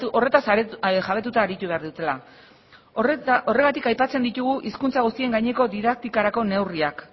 horretaz jabetuta aritu behar dutela horregatik aipatzen ditugu hizkuntza guztien gaineko didaktikarako neurriak